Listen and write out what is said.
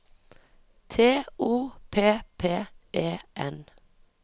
T O P P E N